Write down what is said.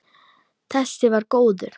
Þessi var góður!